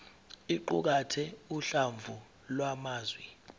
iqukathe uhlamvu lwamazwi